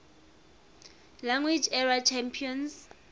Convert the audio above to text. league era champions